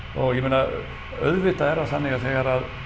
og ég meina auðvitað er það þannig að þegar